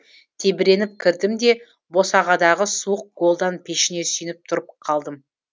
тебіреніп кірдім де босағадағы суық голдан пешіне сүйеніп тұрып қалдым